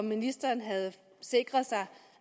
ministeren havde sikret sig